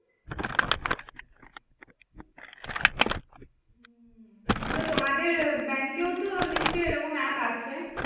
তো তোমাদের bank ও তো নিশ্চই এ রকম app আছে?